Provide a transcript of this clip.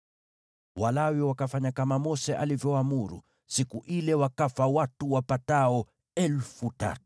Walawi wakafanya kama Mose alivyoamuru, siku ile wakafa watu wapatao 3,000.